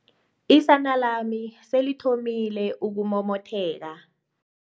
Isana lami selithomile ukumomotheka.